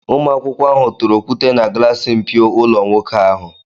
Ụmụakwụkwọ ahụ tụrụ okwute na glassi mpio ụlọ nwoke ahụ.